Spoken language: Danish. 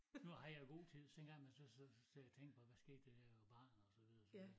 Nu har jeg god tid så en gang i mellem så så sidder jeg og tænker på hvad skete der da jeg var barn og så videre så videre